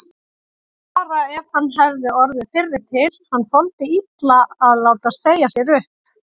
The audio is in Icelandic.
Bara ef hann hefði orðið fyrri til, hann þoldi illa að láta segja sér upp.